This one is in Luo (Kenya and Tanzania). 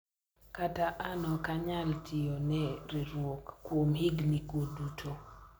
kata an ok anyal tiyo ne riwruok kuom higni go duto